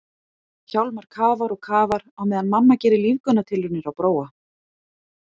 Hjálmar kafar og kafar á meðan mamma gerir lífgunartilraunir á Bróa.